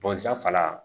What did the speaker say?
fana